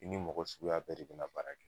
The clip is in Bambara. I ni mɔgɔ suguya bɛɛ de bina baara kɛ